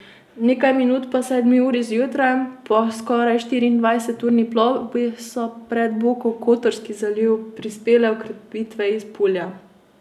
Nekaj minut po sedmi uri zjutraj, po skoraj štiriindvajseturni plovbi, so pred Bokokotorski zaliv prispele okrepitve iz Pulja.